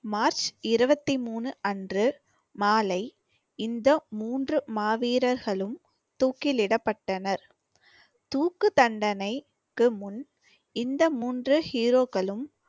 March இருபத்தி மூணு அன்று மாலை இந்த மூன்று மாவீரர்களும் தூக்கிலிடப்பட்டனர். தூக்கு தண்டனைக்கு முன் இந்த மூன்று hero க்களும்